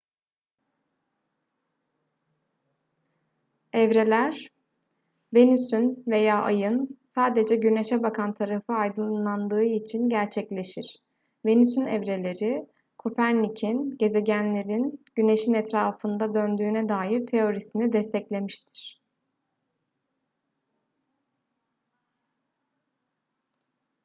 evreler venüs'ün veya ay'ın sadece güneş'e bakan tarafı aydınlandığı için gerçekleşir. venüs'ün evreleri kopernik'in gezegenlerin güneş'in etrafında döndüğüne dair teorisini desteklemiştir